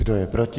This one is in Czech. Kdo je proti?